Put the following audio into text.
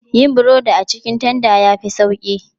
Yin burodi a cikin tanda ya fi sauƙi.